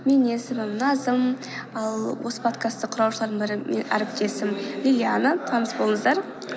менің есімім назым ал осы подкасты құраушылардың бірі әріптесім диана таңыс болыңыздар